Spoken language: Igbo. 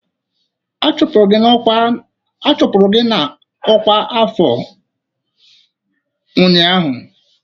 A chụpụrụ gị na ọkwa afọ ụnyaahụ!